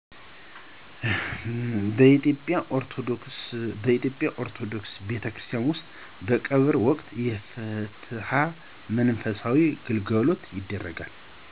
በኢትዮጵያ ኦርቶዶክስ ቤተክርስቲያን ውስጥ በቀብር ወቅት የፍትሀት መንፈሳዊ ግልጋሎት ይደረጋል።